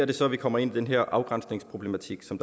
det så vi kommer ind i den afgrænsningsproblematik som